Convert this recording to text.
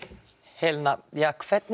Helena hvernig